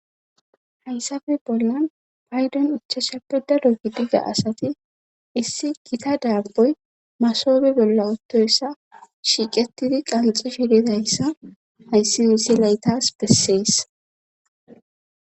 Hayssappe bollan paydon ichasha peddado gidigga asati issi gita daabboy masobe bolla ottoyssa shiiqetidi qanxxishe didoyissa hayssi wiise laytas bessees.